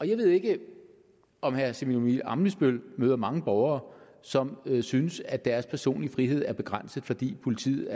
jeg ved ikke om herre simon emil ammitzbøll møder mange borgere som synes at deres personlige frihed er begrænset fordi politiet